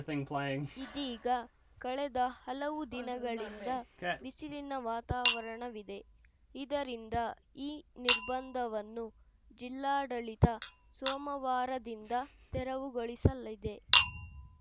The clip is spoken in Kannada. ಇದೀಗ ಕಳೆದ ಹಲವು ದಿನಗಳಿಂದ ಬಿಸಿಲಿನ ವಾತಾವರಣವಿದೆ ಇದರಿಂದ ಈ ನಿರ್ಬಂಧವನ್ನು ಜಿಲ್ಲಾಡಳಿತ ಸೋಮವಾರದಿಂದ ತೆರವುಗೊಳಿಸಲಿದೆ